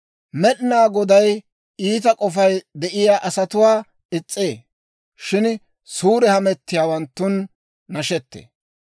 Med'inaa Goday iita k'ofay de'iyaa asatuwaa is's'ee; shin suure hamettiyaawanttun nashettee.